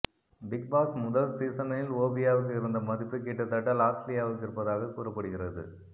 Bigg Boss முதல் சீசனில் ஓவியாவுக்கு இருந்த மதிப்பு கிட்டத்தட்ட லாஸ்லியாவுக்கு இருப்பதாக கூறப்படுகிறது